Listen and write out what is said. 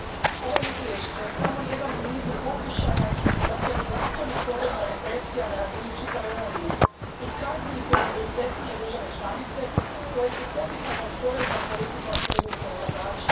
Gospodine predsjedniče, ovo je izvješće samo jedan u nizu pokušaja da se ozakoni porezna represija na razini čitave Unije i kazni poduzetnije države članice koje su poticajnom poreznom politikom privukle ulagače.